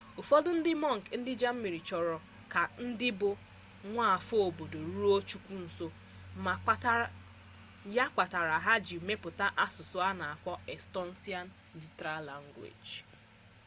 ufodu ndi monk ndi germany choro ka ndi bu nwaafo obodo ruo chukwu nso ya kpatara ha ji meputa asusu ana akpo estonian literal language